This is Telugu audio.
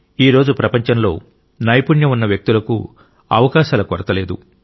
ఈరోజు ప్రపంచంలో నైపుణ్యం ఉన్న వ్యక్తులకు అవకాశాల కొరత లేదు